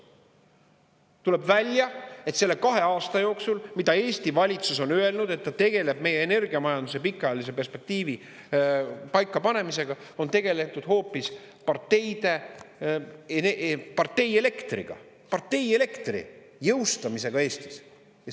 Tuleb välja, et selle kahe aasta jooksul, mida Eesti valitsus on öelnud, et ta tegeleb meie energiamajanduse pikaajalise perspektiivi paikapanemisega, on tegeletud hoopis partei elektriga, partei elektri jõustamisega Eestis.